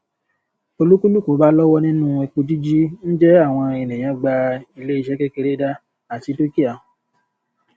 olúkúlùkù bá lọwọ nínú epo jíjí ń jẹ àwọn ènìyàn gba ilé iṣẹ kékeré dá àti dúkìá